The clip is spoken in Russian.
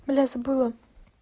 бля забыла